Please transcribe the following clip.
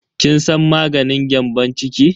Kin san maganin gyambon ciki?